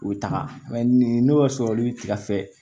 U bɛ taga nin n'o y'a sɔrɔ lu bɛ tigɛ